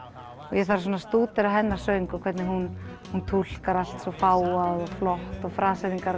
ég þarf að stúdera hennar söng og hvernig hún hún túlkar allt svo fágað og flott og